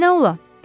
Nə olardı?